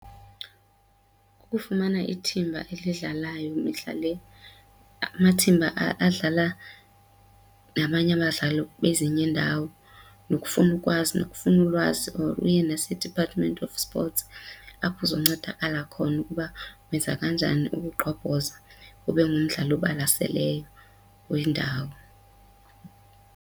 Ukufumana ithimba alidlalayo mihla le, amathimba adlala nabanye abadlali bezinye iindawo nokufuna ukwazi nokufuna ulwazi or uye nase-Department of Sports apho uzoncedakala khona ukuba wenza kanjani ukugqobhoza ube ngumdlali obalaseleyo wendawo.